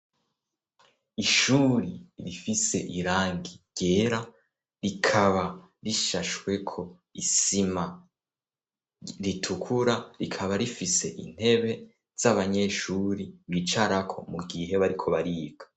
Ishuri rifise irangi ryera rikaba rishashweko isima ritukura rikaba rifise intebe z'abanyeshuri bicarako mu gihe bariko bariga.